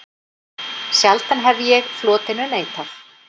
Sjaldan hef ég flotinu neitað.